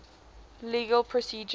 legal procedure